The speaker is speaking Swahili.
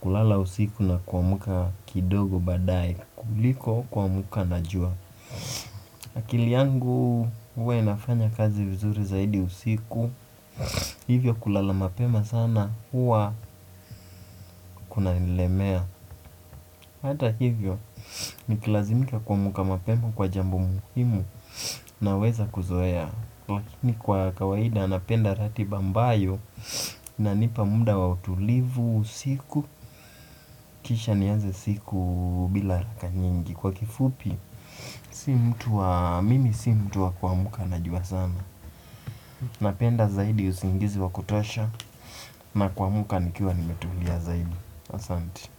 kulala usiku na kuamka kidogo baadae kuliko kuamka na jua. Akili yangu huwa inafanya kazi vizuri zaidi usiku. Hivyo kulala mapema sana huwa kuna nillemea. Hata hivyo nikilazimika kuamka mapema kwa jambo muhimu naweza kuzoea. Lakini kwa kawaida napenda ratiba ambayo inanipa muda wa utulivu usiku kisha nianze siku bila haraka nyingi kwa kifupi mimi sio mtu wa kuamka na jua sana. Napenda zaidi usingizi wa kutosha na kuamka nikiwa nimetulia zaidi asante.